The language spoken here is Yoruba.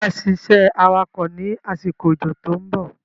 Ṣé wá ṣiṣẹ́ awakọ̀ ni àsìkò ójó to ń bọ̀?